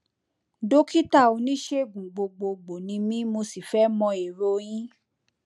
dókítà oníṣègùn gbogbogbò ni mí mo sì fẹ mọ èrò yín